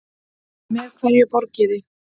Með hverju borgiði?